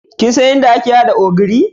Kin san yadda ake hada ogiri?